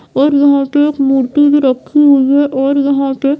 और यहाँ पे एक मूर्ति भी रखी हुई है और यहाँ पे --